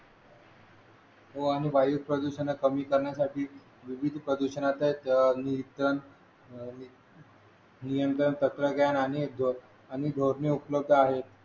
हो आणि वायू प्रदूषण कमी करण्यासाठी पृथ्वीच प्रदूषणाच नियंत्रण नियंत्रण तत्वज्ञान आणि आणि धोरणे उपलब्ध आहेत